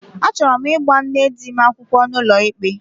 Achọrọ m ịgba nne di m akwụkwọ n'ụlọikpe